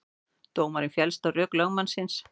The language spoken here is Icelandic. Dómarinn féllst á rök lögmannsins